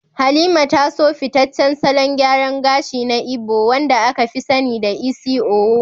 Halima ta so fitaccen salon gyaran gashi na Igbo wanda aka fi sani da "Isi Owu,"